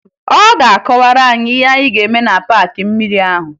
Ọ ga-akọwara anyị ihe anyị ga-eme na paakị mmiri ahụ